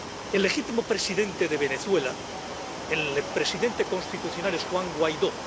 El legítimo presidente de Venezuela, el presidente constitucional, es Juan Guaidó.